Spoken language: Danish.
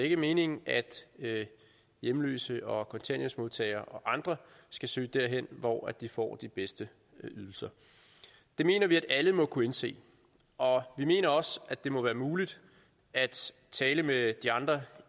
ikke meningen at hjemløse og kontanthjælpsmodtagere og andre skal søge derhen hvor de får de bedste ydelser det mener vi at alle må kunne indse og vi mener også at det må være muligt at tale med de andre